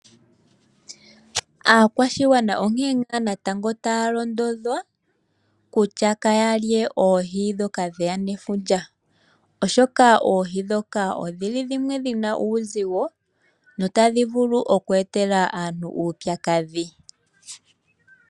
Aakwashigwana onkene ngaa natango taya londodhwa kutya kaya lye oohi ndhoka dheya nefundja, oshoka oohi dhoka odhi li dhimwe dhi na uuzigo notadhi vulu oku etela aantu uupyakadhi.